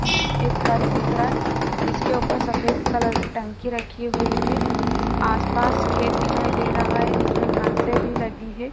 एक घर दिख रहा है जिसके ऊपर सफेद कलर की टंकी रखी हुई है। आस-पास खेत दिखाई दे रहा है जिसमें घासें भी लगी है।